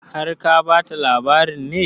Har ka ba ta labarin ne?